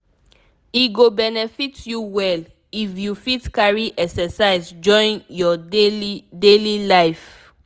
e go benefit you well if you fit carry exercise join your daily daily life